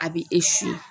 A bɛ